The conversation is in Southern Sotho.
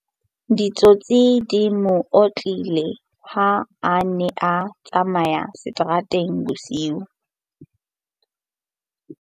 Ditsotsi di mo otlile ha a ne a tsamaya seterateng bosiu.